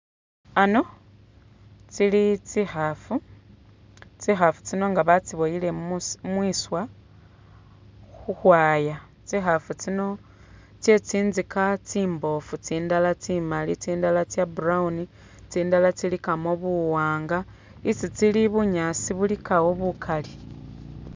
Ano tsili tsikhaafu, tsikhaafu tsino nga batsiboyile mu.. mwiswa khu khwaaya, tsi'khaafu tsino tse tsinzika tsimboofu, tsindala tsi'maali, tsindala tsya brown, tsindala tsilikamo buwaanga, isi tsili ilikawo bunyaasi bukali.